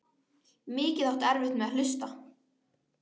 Mikið áttu erfitt með að hlusta.